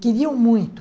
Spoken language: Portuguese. Queriam muito.